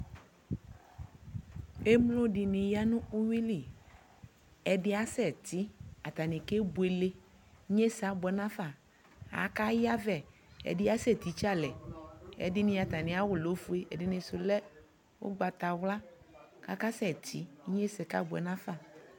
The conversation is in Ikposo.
Emlo dιnι ya nʋ uwyui li, ɛdι asɛ tι, atanι ke buele, inyesɛ abuɛ nafa, aka yavɛ, ɛdι asɛ titse alɛƐdιnι atamι awʋ lɛ oofue, ɛdιnι sʋ lɛ ʋgbatawla, kʋ akasɛ tιInyesɛ kabʋɛ nafa